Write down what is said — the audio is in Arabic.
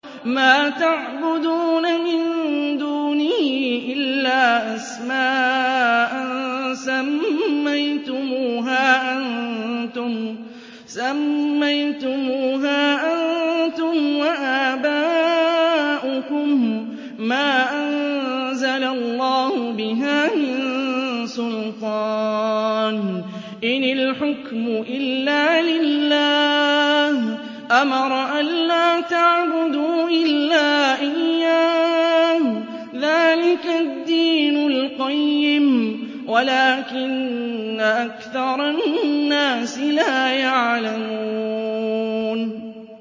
مَا تَعْبُدُونَ مِن دُونِهِ إِلَّا أَسْمَاءً سَمَّيْتُمُوهَا أَنتُمْ وَآبَاؤُكُم مَّا أَنزَلَ اللَّهُ بِهَا مِن سُلْطَانٍ ۚ إِنِ الْحُكْمُ إِلَّا لِلَّهِ ۚ أَمَرَ أَلَّا تَعْبُدُوا إِلَّا إِيَّاهُ ۚ ذَٰلِكَ الدِّينُ الْقَيِّمُ وَلَٰكِنَّ أَكْثَرَ النَّاسِ لَا يَعْلَمُونَ